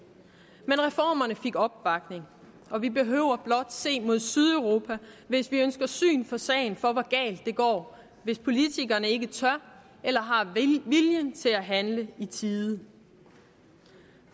men reformerne fik opbakning og vi behøver blot se mod sydeuropa hvis vi ønsker syn for sagen for hvor galt det går hvis politikerne ikke tør eller har viljen til at handle i tide